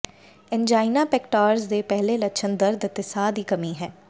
angina pectoris ਦੇ ਪਹਿਲੇ ਲੱਛਣ ਦਰਦ ਅਤੇ ਸਾਹ ਦੀ ਕਮੀ ਹੈ